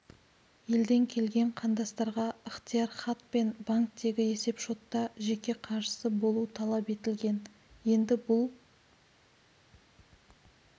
елден келген қандастарға ықтияр хат пен банктегі есеп-шотта жеке қаржысы болуы талап етілген енді бұл